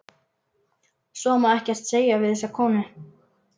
Svo má ekkert segja við þessa konu.